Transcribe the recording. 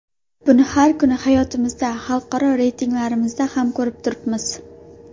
Buni har kungi hayotimizda, xalqaro reytinglarimizdan ham ko‘rib turibmiz.